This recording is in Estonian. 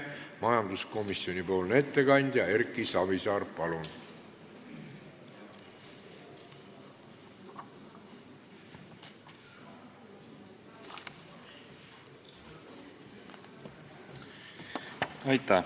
Majanduskomisjoni ettekandja Erki Savisaar, palun!